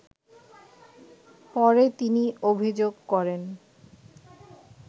পরে তিনি অভিযোগ করেন